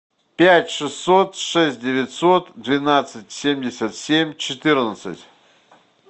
пять шестьсот шесть девятьсот двенадцать семьдесят семь четырнадцать